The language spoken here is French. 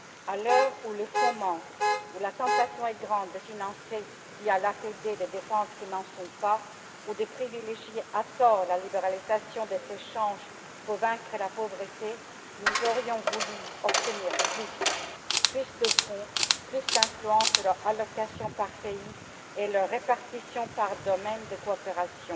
À l'heure où les fonds manquent, où la tentation est grande de financer via l'APD des dépenses qui n'en relèvent pas ou de privilégier, à tort, la libéralisation des échanges pour vaincre la pauvreté, nous aurions voulu obtenir plus, plus de fonds, plus d'influence sur leur attribution par pays et leur répartition par domaine de coopération.